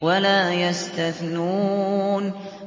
وَلَا يَسْتَثْنُونَ